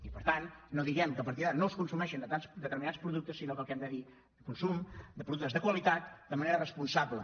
i per tant no diguem que a partir d’ara no es consumeixin determinats productes sinó que el que hem de dir consum de productes de qualitat de manera responsable